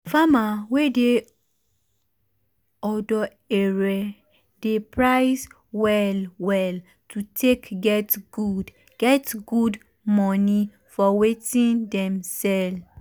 farmer wey dey odo ere dey price well well to take get good get good money for wetin dem sell.